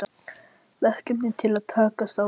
Verkefni til að takast á við?